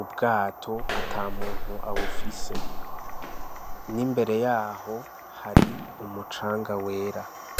ubwato atamuntu abufise n'imbere yaho hari umucanga wera.